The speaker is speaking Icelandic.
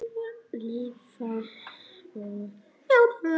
Lifa og njóta.